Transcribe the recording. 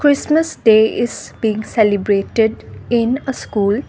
christmas day is being celebrated in a school.